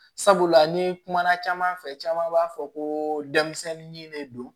Sabula ni kumana caman fɛ caman b'a fɔ ko denmisɛnnin de don